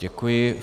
Děkuji.